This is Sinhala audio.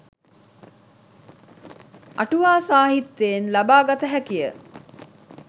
අටුවා සාහිත්‍යයෙන් ලබා ගත හැකිය.